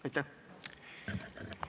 Aitäh!